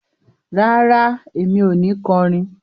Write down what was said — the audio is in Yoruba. Rárá, èmi o ni kọrin